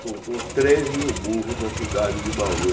Soltou três mil burros na cidade de Bauru.